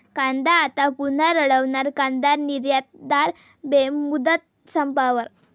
कांदा आता पुन्हा रडवणार, कांदा निर्यातदार बेमुदत संपावर